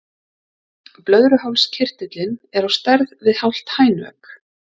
Blöðruhálskirtillinn er á stærð við hálft hænuegg.